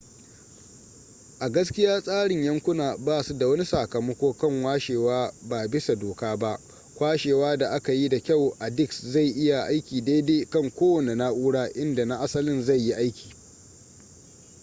a gaskiya tsarin yankuna basu da wani sakamako kan kwashewa ba bisa doka ba kwashewa da aka yi da kyau a disk zai iya aiki daidai kan kowanne na'ura inda na asalin zai yi aiki